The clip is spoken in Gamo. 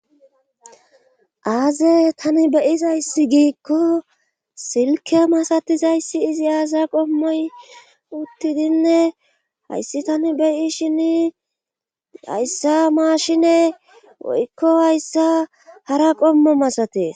Aaze tani bey'izayssi giikko silke masatizayssi izi aasa qommoy uttidinne hayssi tani beyishshin hayssa maashine woykko hayssa hara qommo masatees